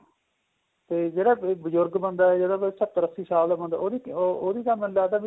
ਤੇ ਜਿਹੜਾ ਬਜ਼ੁਰਗ ਬੰਦਾ ਏ ਉਹਦੀ ਸੱਤਰ ਅੱਸੀ ਸਾਲ ਬੰਦਾ ਏ ਉਹਦੀ ਤਾਂ ਮੈਨੂੰ ਲੱਗਦਾ